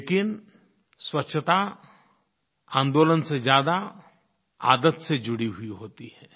लेकिन स्वच्छता आंदोलन से ज़्यादा आदत से जुड़ी हुई होती है